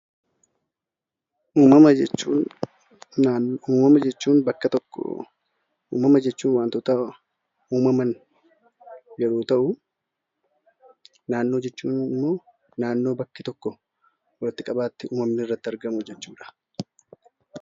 Uumamuma jechuun wantoota uumaman yeroo ta'u, naannoo jechuun immoo naannoo bakki itti uumamu irratti argamu jechuudha.